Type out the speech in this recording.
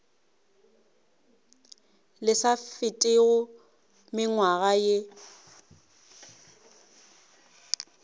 le sa fetego mengwaga ye